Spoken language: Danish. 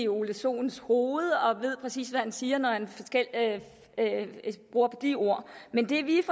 ole sohns hoved og ved præcis hvad han siger når han bruger de ord men det vi